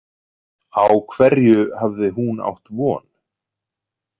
Á hverju hafði hún átt von?